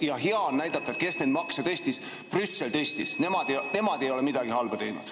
Ja hea on näidata, kes neid makse tõstis – Brüssel tõstis –, ja nemad ei ole midagi halba teinud.